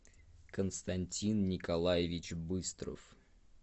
константин николаевич быстров